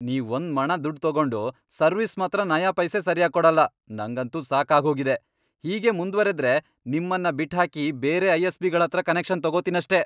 ನೀವ್ ಒಂದ್ಮಣ ದುಡ್ಡ್ ತಗೊಂಡ್ ಸರ್ವಿಸ್ ಮಾತ್ರ ನಯಾಪೈಸೆ ಸರ್ಯಾಗ್ ಕೊಡಲ್ಲ, ನಂಗಂತೂ ಸಾಕಾಗ್ಹೋಗಿದೆ, ಹೀಗೇ ಮುಂದ್ವರೆದ್ರೆ ನಿಮ್ಮನ್ನ ಬಿಟ್ಹಾಕಿ ಬೇರೆ ಐ.ಎಸ್.ಪಿ.ಗಳ್ಹತ್ರ ಕನೆಕ್ಷನ್ ತಗೊತೀನಷ್ಟೇ.